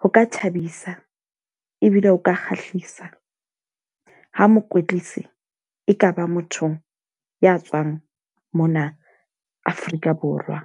ho ka thabisa ebile o ka kgahlisa ha mokwetlisi e ka ba motho ya tswang mona Afrika Borwa.